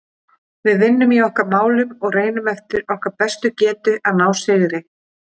Við vinnum í okkar málum og reynum eftir okkar bestu getu að ná sigri.